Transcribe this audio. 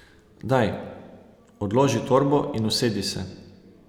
Daj, odloži torbo in usedi se.